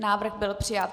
Návrh byl přijat.